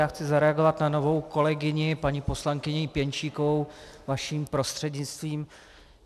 Já chci zareagovat na novou kolegyni paní poslankyni Pěnčíkovou vaším prostřednictvím.